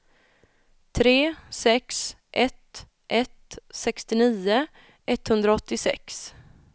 tre sex ett ett sextionio etthundraåttiosex